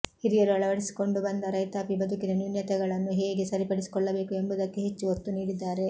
ಹಿರಿಯರು ಅಳವಡಿಸಿಕೊಂಡು ಬಂದ ರೈತಾಪಿ ಬದುಕಿನ ನ್ಯೂನತೆಗಳನ್ನು ಹೇಗೆ ಸರಿಪಡಿಸಿಕೊಳ್ಳಬೇಕು ಎಂಬುದಕ್ಕೆ ಹೆಚ್ಚು ಒತ್ತು ನೀಡಿದ್ದಾರೆ